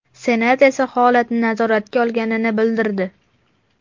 Senat esa holatni nazoratga olganini bildirdi .